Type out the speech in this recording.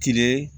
Tile